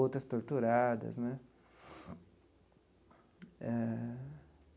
Outras torturadas né eh.